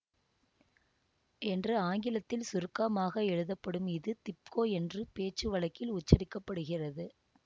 என்று ஆங்கிலத்தில் சுருக்கமாக எழுதப்படும் இது திப்கோ என்று பேச்சு வழக்கில் உச்சரிக்க படுகிறது